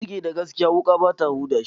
Ciki da gaskiya, wuƙa bata huda shi.